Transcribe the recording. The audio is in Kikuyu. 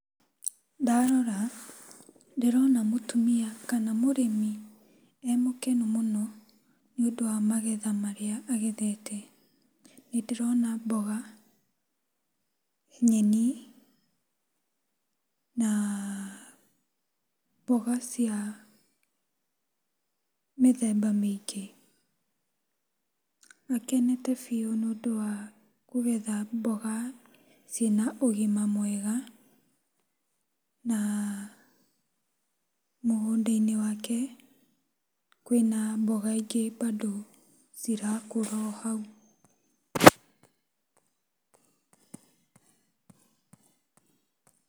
Ndarora ndĩrona mũtumia kana mũrĩmi emũkenu mũno nĩũndũ wa magetha marĩa agethete. Nĩndĩrona mboga, nyeni naa mboga cia mĩthemba mĩingĩ. Akenete biũ nĩũndũ wa kũgetha mboga ciĩna ũgima mwega na mũgũnda-inĩ wake kwĩna mboga ingĩ bado cirakũra o hau.